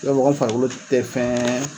mɔgɔ min farikolo tɛ fɛn